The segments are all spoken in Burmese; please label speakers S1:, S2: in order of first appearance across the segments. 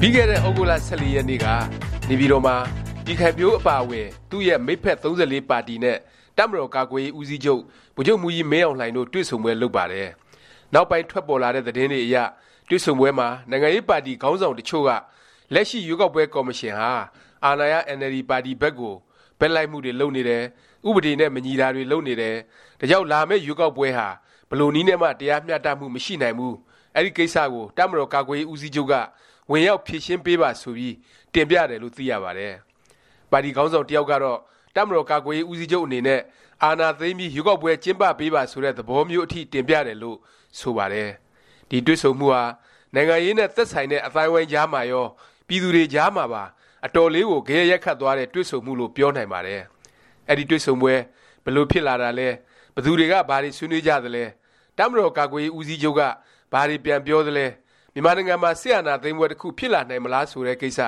S1: ပြီးခဲ့တဲ့ သြဂုတ်လ ၁၄ ရက်နေ့က နေပြည်တော်မှာ ပြည်ခိုင်ဖြိုးအပါအဝင် သူ့ရဲ့ မိတ်ဖက် ၃၄ ပါတီနဲ့ တပ်မတော် ကာကွယ်ရေး ဦးစီးချုပ် ဗိုလ်ချုပ်မှူးကြီး မင်းအောင်လှိုင်တို့ တွေ့ဆုံပွဲ လုပ်ပါတယ်။ နောက်ပိုင်း ထွက်ပေါ်လာတဲ့ သတင်းတွေအရ တွေ့ဆုံပွဲမှာ နိုင်ငံရေးပါတီ ခေါင်းဆောင် တစ်ချို့က လက်ရှိ ရွေးကောက်ပွဲ ကော်မရှင်ဟာ အာဏာရ အင်န်အယ်လ်ဒီ ပါတီ ဘက်ကို ဘက်လိုက်မှုတွေ လုပ်နေတယ်၊ ဥပဒေနဲ့ မညီတာတွေလုပ်နေတယ်၊ ဒါကြောင့် လာမယ့် ရွေးကောက်ပွဲဟာ ဘယ်လိုနည်းနဲ့မှ တရားမျှတမှု မရှိနိုင်ဘူး၊ အဲဒီကိစ္စကို တပ်မတော်ကာကွယ်ရေး ဦးစီးချုပ်က ဝင်ရောက် ဖြေရှင်းပေးပါ ဆိုပြီး တင်ပြတယ်လို့ သိရပါတယ်။ ပါတီခေါင်းဆောင် တစ်ယောက်ကတော့ တပ်မတော်ကာကွယ်ရေး ဦးစီးချုပ် အနေနဲ့ အာဏာသိမ်းပြီး ရွေးကောက်ပွဲ ကျင်းပပေးပါ ဆိုတဲ့ သဘောမျိုးအထိ တင်ပြတယ်လို့ ဆိုပါတယ်။ ဒီတွေ့ဆုံမှုဟာ နိုင်ငံရေးနဲ့ သက်ဆိုင်တဲ့ အသိုင်းအဝိုင်းကြားမှာရော၊ ပြည်သူတွေကြားမှာပါ အတော်လေးကို ဂယက်ရိုက်ခတ်သွားတဲ့ တွေ့ဆုံမှုလို့ ပြောနိုင်ပါတယ်။ အဲဒီ တွေ့ဆုံပွဲ ဘယ်လို ဖြစ်လာတာလဲ၊ ဘယ်သူတွေက ဘာတွေ ဆွေးနွေးကြသလဲ၊ တပ်မတော်ကာကွယ်ရေး ဦးစီးချုပ်က ဘာတွေ ပြန်ပြောသလဲ၊ မြန်မာနိုင်ငံမှာ စစ်အာဏာသိမ်းပွဲ တစ်ခု ဖြစ်လာနိုင်မလား ဆိုတဲ့ ကိစ္စ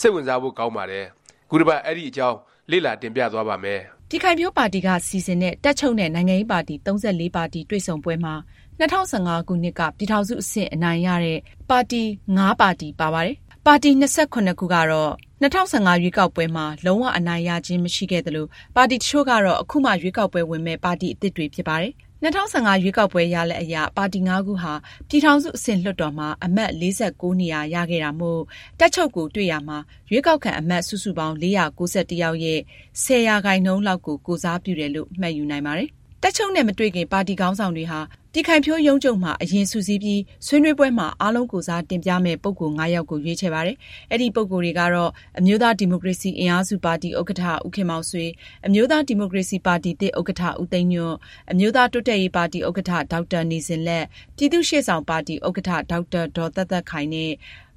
S1: စိတ်ဝင်စားဖို့ ကောင်းပါတယ်။ ခုတပတ် အဲဒီအကြောင်း လေ့လာ တင်ပြသွားပါ့မယ်
S2: ။ ပြည်ခိုင်ဖြိုးပါတီက စီစဉ်တဲ့ တပ်ချုပ်နဲ့ နိုင်ငံရေးပါတီ ၃၄ ပါတီ တွေ့ဆုံပွဲမှာ ၂၀၁၅ ခုနှစ်က ပြည်ထောင်စု အဆင့် အနိုင်ရတဲ့ ပါတီ(၅) ပါတီ ပါပါတယ်။ (၂၇) ပါတီကတော့ ၂၀၁၅ ရွေးကောက်ပွဲမှာ လုံး၀ အနိုင်ရခြင်း မရှိခဲ့သလို၊ ပါတီတစ်ချို့ကတော့ အခုမှ ရွေးကောက်ပွဲဝင်မယ့် ပါတီ အသစ်တွေ ဖြစ်ပါတယ်။ ၂၀၁၅ ရွေးကောက်ပွဲ ရလာဒ်အရ ပါတီ(၅)ခုဟာ ပြည်ထောင်စု အဆင့် လွှတ်တော်မှာ အမတ် ၄၉ နေရာ ရခဲ့တာမို့ တပ်ချုပ်ကို တွေ့ရာမှာ ရွေးကောက်ခံ အမတ် စုစုပေါင်း ၄၉၁ ယောက်ရဲ့ ၁၀% လောက်ကို ကိုယ်စားပြုတယ်လို့ မှတ်ယူနိုင်ပါတယ်။ တပ်ချုပ်နဲ့ မတွေ့ခင် ပါတီခေါင်းဆောင်တွေဟာ ပြည်ခိုင်ဖြိုးရုံးချုပ်မှာ အရင် စုစည်းပြီး ဆွေးနွေးပွဲမှာ အားလုံးကိုယ်စား တင်ပြမယ့် ပုဂ္ဂိုလ် ၅ ယောက်ကို ရွေးချယ်ပါတယ်။ အဲဒီ ပုဂ္ဂိုလ်တွေကတော့ အမျိုးသားဒီမိုကရေစီ အင်အားစုပါတီ ဥက္ကဌ ဦးခင်မောင်ဆွေ၊ အမျိုးသား ဒီမိုကရေစီပါတီသစ် ဥက္ကဋ္ဌ ဦးသိန်းညွန့်၊ အမျိုးသားတိုးတက်ရေးပါတီဥက္ကဋ္ဌ ဒေါက်တာ နေဇင်လတ်၊ပြည်သူ့ရှေ့ဆောင်ပါတီ ဥက္ကဋ္ဌ ဒေါက်တာ ဒေါ်သက်သက်ခိုင် နဲ့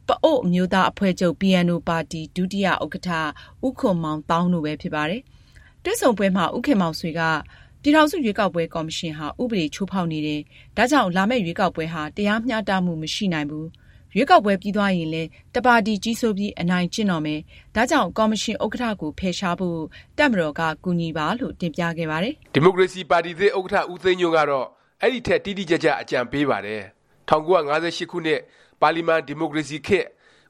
S2: ပအိုဝ်းအမျိုးသားအဖွဲ့ချုပ် (PNO) ပါတီ ဒုတိယဥက္ကဋ္ဌ ဦးခွန်မောင်သောင်း တို့ပဲ ဖြစ်ပါတယ်။ တွေ့ဆုံပွဲမှာ ဦးခင်မောင်ဆွေက ပြည်ထောင်စု ရွေးကောက်ပွဲ ကော်မရှင်ဟာ ဥပဒေချိုးဖေါက်နေတယ်၊ ဒါကြောင့် လာမယ့် ရွေးကောက်ပွဲဟာ တရားမျှတမှု မရှိနိုင်ဘူး၊ ရွေးကောက်ပွဲ ပြီးသွားရင်လည်း တစ်ပါတီတည်း ကြီးစိုးပြီး အနိုင်ကျင့်တော့မယ်၊ ဒါကြောင့် ကော်မရှင် ဥက္ကဌကို ဖယ်ရှားဖို့ တပ်မတော်က ကူညီပါလို့ တင်ပြခဲ့ပါတယ်
S1: ။ ဒီမိုကရေစီ ပါတီသစ် ဥက္ကဌ ဦးသိန်းညွန့်ကတော့ အဲဒီထက် တိတိကျကျ အကြံပေးပါတယ်။ ၁၉၅၈ ခုနှစ် ပါလီမန်ဒီမိုကရေစီခေတ်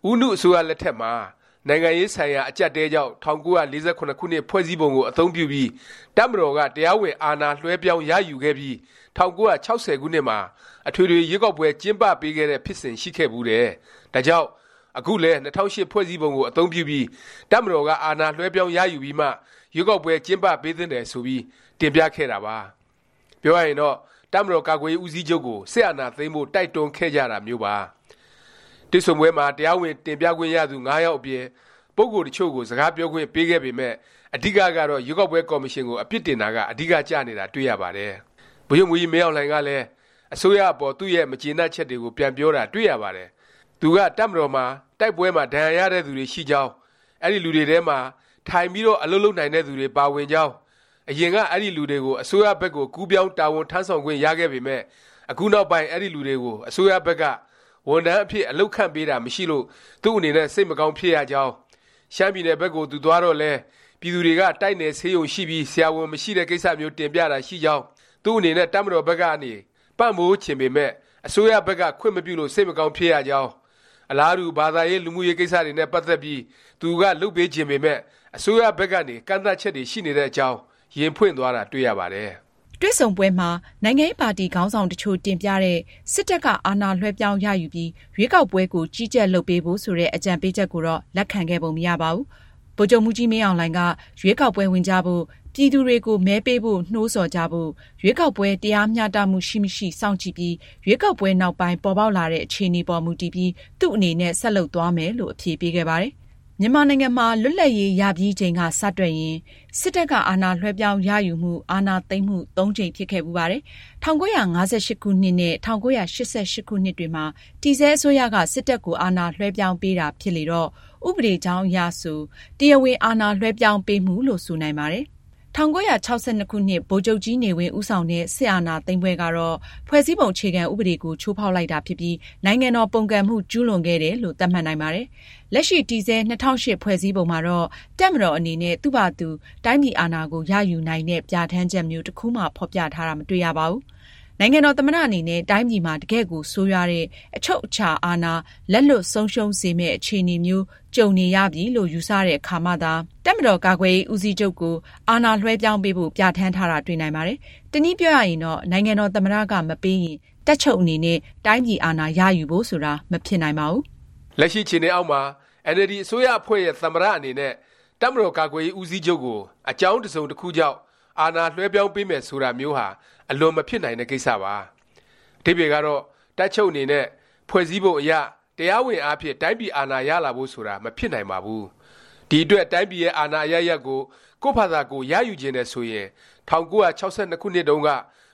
S1: ဦးနု အစိုးရ လက်ထက်မှာ နိုင်ငံရေးဆိုင်ရာ အကြပ်အတည်းကြောင့် ၁၉၄၇ ခုနှစ် ဖွဲ့စည်းပုံကို အသုံးပြုပြီး တပ်မတော်က တရားဝင် အာဏာလွဲှပြောင်းရယူခဲ့ပြီး ၁၉၆၀ ခုနှစ်မှာ အထွေထွေ ရွေးကောက်ပွဲ ကျင်းပပေးခဲ့တဲ့ ဖြစ်စဉ် ရှိခဲ့ဘူးတယ်၊ ဒါကြောင့် အခုလည်း ၂၀၀၈ ဖွဲ့စည်းပုံကို အသုံးပြုပြီး တပ်မတော်က အာဏာလွဲှပြောင်းရယူပြီးမှ ရွေးကောက်ပွဲ ကျင်းပပေးသင့်တယ် ဆိုပြီး တင်ပြခဲ့တာပါ။ ပြောရရင်တော့ တပ်မတော်ကာကွယ်ရေး ဦးစီးချုပ်ကို စစ်အာဏာသိမ်းဖို့ တိုက်တွန်းခဲ့ကြတာမျိုးပါ။ တွေ့ဆုံပွဲမှာ တရားဝင် တင်ပြခွင့်ရသူ ၅ ယောက်အပြင် ပုဂ္ဂိုလ် တစ်ချို့ကို စကားပြောခွင့် ပေးခဲ့ပေမယ့် အဓိကကတော့ ရွေးကောက်ပွဲ ကော်မရှင်ကို အပြစ်တင်တာက အဓိကကျနေတာ တွေ့ရပါတယ်။ ဗိုလ်ချုပ်မှူးကြီးမင်းအောင်လှိုင်ကလည်း အစိုးရ အပေါ် သူ့ရဲ့ မကျေနပ်ချက်တွေကို ပြန်ပြောတာ တွေ့ရပါတယ်။ သူက တပ်မတော်မှာ တိုက်ပွဲမှာ ဒဏ်ရာရတဲ့သူတွေ ရှိကြောင်း၊ အဲဒီလူတွေထဲမှာ ထိုင်ပြီးတော့ အလုပ်လုပ်နိုင်တဲ့သူတွေ ပါဝင်ကြောင်း၊ အရင်က အဲဒီလူတွေ အစိုးရဘက်ကို ကူးပြောင်း တာဝန်ထမ်းဆောင်ခွင့် ရခဲ့ပေမယ့် အခုနောက်ပိုင်း အဲဒီလူတွေကို အစိုးရဘက်က ဝန်ထမ်းအဖြစ် အလုပ်ခန့်ပေးတာ မရှိလို့ သူ့အနေနဲ့ စိတ်မကောင်းဖြစ်ရကြောင်း၊ ရှမ်းပြည်နယ် ဘက်ကို သူသွားတော့လည်း ပြည်သူတွေက တိုက်နယ် ဆေးရုံရှိပြီး ဆရာဝန်မရှိတဲ့ ကိစ္စမျိုး တင်ပြတာ ရှိကြောင်း၊ သူ့အနေနဲ့ တပ်မတော်ဘက်ကနေ ပံ့ပိုးပေးချင်ပေမယ့် အစိုးရဘက်က ခွင့်မပြုလို့ စိတ်မကောင်းဖြစ်ရကြောင်း၊ အလားတူ ဘာသာရေး လူမှုရေး ကိစ္စတွေနဲ့ ပတ်သက်ပြီး သူက လုပ်ပေးချင်ပေမယ့် အစိုးရဘက်ကနေ ကန့်သတ်ချက်တွေ ရှိနေတဲ့အကြောင်း ရင်ဖွင့်သွားတာ တွေ့ရပါတယ်။
S2: တွေ့ဆုံပွဲမှာ နိုင်ငံရေးပါတီ ခေါင်းဆောင် တစ်ချို့ တင်ပြတဲ့ စစ်တပ်က အာဏာလွဲှပြောင်းရယူပြီး ရွေးကောက်ပွဲကို ကြီးကြပ် လုပ်ပေးဖို့ ဆိုတဲ့ အကြံပေးချက်ကိုတော့ လက်ခံခဲ့ပုံမရပါဘူး။ ဗိုလ်ချုပ်မှူးကြီး မင်းအောင်လှိုင်က ရွေးကောက်ပွဲ ဝင်ကြဖို့၊ ပြည်သူတွေကို မဲပေးဖို့ နှိုးဆော်ကြဖို့၊ ရွေးကောက်ပွဲ တရားမျှတမှု ရှိမရှိ စောင့်ကြည့်ပြီး၊ ရွေးကောက်ပွဲ နောက်ပိုင်း ပေါ်ပေါက်လာတဲ့ အခြေအနေပေါ် မူတည်ပြီး သူ့အနေနဲ့ ဆက်လုပ်သွားမယ်လို့ အဖြေပေးခဲ့ပါတယ်။ မြန်မာနိုင်ငံမှာ လွတ်လပ်ရေး ရပြီးအချိန်က စတွက်ရင် စစ်တပ်က အာဏာလွဲှပြောင်းရယူမှု၊ အာဏာသိမ်းမှု (၃)ကြိမ် ဖြစ်ခဲ့ဖူးပါတယ်။ ၁၉၅၈ ခုနှစ် နဲ့ ၁၉၈၈ ခုနှစ်တွေမှာ တည်ဆဲ အစိုးရက စစ်တပ်ကို အာဏာလွဲှပြောင်းပေးတာ ဖြစ်လေတော့ ဥပဒေကြောင်းအရဆို တရားဝင် အာဏာလွဲှပြောင်းပေးမှုလို့ ဆိုနိုင်ပါတယ်။ ၁၉၆၂ ခုနှစ် ဗိုလ်ချုပ်ကြီးနေဝင်း ဦးဆောင်တဲ့ စစ်အာဏာသိမ်းပွဲကတော့ ဖွဲ့စည်းပုံ အခြေခံ ဥပဒေကို ချိုးဖေါက်လိုက်တာဖြစ်ပြီး နိုင်ငံတော်ပုန်ကန်မှု ကျူးလွန်ခဲ့တယ်လို့ သတ်မှတ်နိုင်ပါတယ်။ လက်ရှိ တည်ဆဲ ၂၀၀၈ ဖွဲ့စည်းပုံမှာတော့ တပ်မတော်အနေနဲ့ သူ့ဖာသာသူ တိုင်းပြည် အာဏာကိုရယူနိုင်တဲ့ ပြဌာန်းချက်မျိုး တစ်ခုမှ ဖော်ပြထားတာ မတွေ့ရပါဘူး။ နိုင်ငံတော် သမ္မတ အနေနဲ့ တိုင်းပြည်မှာ တကယ့်ကို ဆိုးရွားတဲ့၊ အချုပ်အခြာအာဏာ လက်လွတ်ဆုံးရှုံးစေမယ့် အခြေအနေမျိုး ကြုံနေရပြီလို့ ယူဆတဲ့ အခါမှသာ တပ်မတော် ကာကွယ်ရေးဦးစီးချုပ်ကို အာဏာလွဲှပြောင်းပေးဖို့ ပြဌာန်းထားတာ တွေ့နိုင်ပါတယ်။ တနည်းပြောရရင်တော့ နိုင်ငံတော် သမ္မတ က မပေးရင် တပ်ချုပ်အနေနဲ့ တိုင်းပြည်အာဏာ ရယူဖို့ ဆိုတာ မဖြစ်နိုင်ပါဘူး
S1: ။ လက်ရှိ အခြေအနေအောက်မှာ အင်န်အယ်လ်ဒီ အစိုးရအဖွဲ့ရဲ့ သမ္မတ အနေနဲ့ တပ်မတော်ကာကွယ်ရေး ဦးစီးချုပ်ကို အကြောင်းတစ်စုံတစ်ခုကြောင့် အာဏာလွဲှပြောင်းပေးမယ် ဆိုတာမျိုးဟာ အလွန်မဖြစ်နိုင်တဲ့ ကိစ္စပါ။ အဓိပ္ပါယ်ကတော့ တပ်ချုပ်အနေနဲ့ ဖွဲ့စည်းပုံအရ၊ တရားဝင်အားဖြင့် တိုင်းပြည်အာဏာ ရလာဖို့ ဆိုတာ မဖြစ်နိုင်ပါဘူး။ ဒီအတွက် တိုင်းပြည်ရဲ့ အာဏာအရပ်ရပ်ကို ကိုယ့်ဖာသာကိုယ် ရယူချင်တယ် ဆိုရင် ၁၉၆၂ ခုနှစ်တုန်းက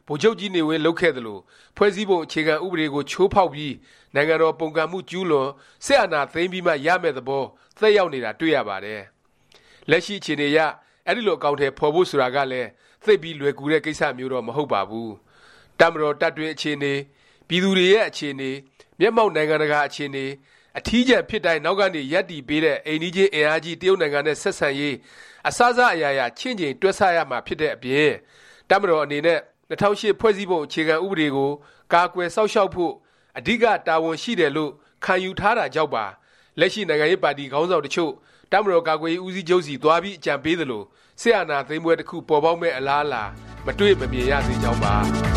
S1: ဗိုလ်ချုပ်ကြီးနေဝင်း လုပ်ခဲ့သလို ဖွဲ့စည်းပုံ အခြေခံ ဥပဒေကို ချိုးဖေါက်ပြီး၊ နိုင်ငံတော် ပုန်ကန်မှု ကျူးလွန်၊ စစ်အာဏာသိမ်းပြီးမှ ရမယ့် သဘော သက်ရောက်နေတာ တွေ့ရပါတယ်။ လက်ရှိ အခြေအနေအရ အဲဒီလို အကောင်အထည် ဖော်ဖို့ ဆိုတာကလည်း သိပ်ပြီး လွယ်ကူတဲ့ ကိစ္စမျိုးတော့ မဟုတ်ပါဘူး။ တပ်မတော် တပ်တွင်း အခြေအနေ၊ ပြည်သူတွေရဲ့ အခြေအနေ၊ မျက်မှောက် နိုင်ငံတကာ အခြေအနေ၊ အထီးကျန်ဖြစ်တိုင်း နောက်ကနေ ရပ်တည်ပေးတဲ့ အိမ်နီးချင်း အင်အားကြီး တရုတ်နိုင်ငံနဲ့ ဆက်ဆံရေး အစစ အရာရာ ချင့်ချိန် တွက်ဆ ရမှာဖြစ်တဲ့အပြင် တပ်မတော် အနေနဲ့ ၂၀၀၈ ဖွဲ့စည်းပုံ အခြေခံ ဥပဒေကို ကာကွယ်စောင့်ရှောက်ဖို့ အဓိက တာဝန်ရှိတယ်လို့ ခံယူထားတာကြောင့်ပါ လက်ရှိ နိုင်ငံရေးပါတီ ခေါင်းဆောင် တစ်ချို့ တပ်မတော်ကာကွယ်ရေး ဦးစီးချုပ်ဆီ သွားပြီး အကြံပေးသလို၊ စစ်အာဏာသိမ်းပွဲ တစ်ခု ပေါ်ပေါက်မယ့် အလားအလာ မတွေ့၊ မမြင်ရသေးကြောင်းပါ